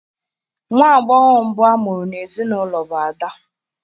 Nwa agbọghọ mbụ a mụrụ n'ezinaụlọ bụ ada.